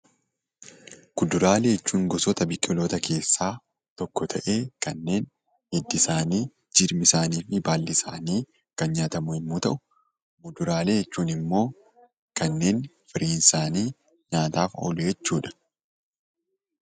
Kuduraalee jechuun gosoota biqiltootaa keessaa tokko ta'ee, kanneen hiddi isaanii, jirmi isaaniifi baalli isaanii kan nyaatamu yemmuu ta'u, fuduraalee jechuun ammoo kanneen firiin isaanii nyaataaf oolu jechuudha.